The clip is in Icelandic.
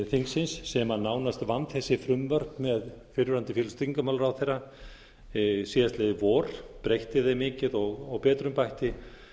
þingsins sem nánast vann þessi frumvörp með fyrrverandi félags og tryggingamálaráðherra síðastliðið vor breytti þeim mikið og betrumbætti